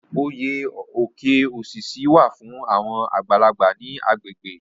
Oyè Oke osisi wà fún àwọn àgbàlagbà ní agbègbè.